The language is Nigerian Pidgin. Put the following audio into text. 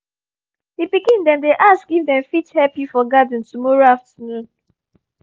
the pikin dem dey ask if dem fit help you for garden tomorrow afternoon